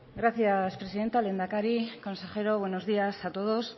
gracias presidenta lehendakari consejero buenos días a todos